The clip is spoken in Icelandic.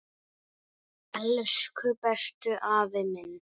Elsku besti afi minn.